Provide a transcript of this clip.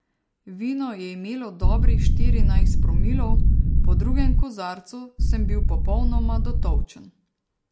Vino je imelo dobrih štirinajst promilov, po drugem kozarcu sem bil popolnoma dotolčen.